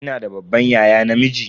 Kina da babban yaya namiji?